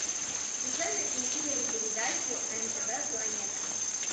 включай на телевизоре передачу нтв планета